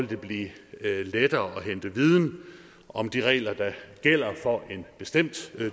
det blive lettere at hente viden om de regler der gælder for en bestemt